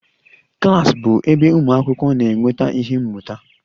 Klas bụ ebe ụmụ akwụkwọ na-enweta ihe mmụta